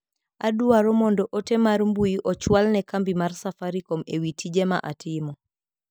Adwao mondo ote mar mbui ochwal ne kambi mar safaricom ewi tije ma atimo.